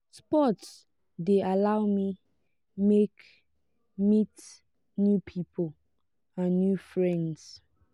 sports de allow me make meet new pipo and new friends